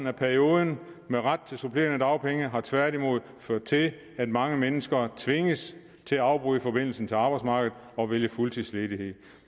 af perioden med ret til supplerende dagpenge har tværtimod ført til at mange mennesker tvinges til at afbryde forbindelsen til arbejdsmarkedet og vælge fuldtidsledighed